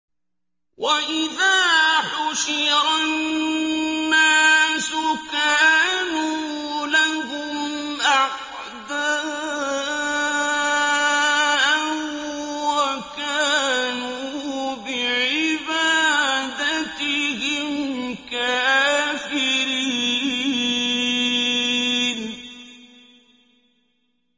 وَإِذَا حُشِرَ النَّاسُ كَانُوا لَهُمْ أَعْدَاءً وَكَانُوا بِعِبَادَتِهِمْ كَافِرِينَ